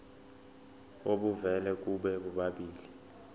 obuvela kubo bobabili